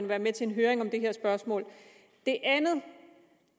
være med til en høring om det her spørgsmål